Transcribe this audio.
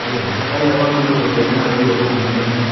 Kake eitawuo apa bill o ropiyiani ina toki te kodi nemetii.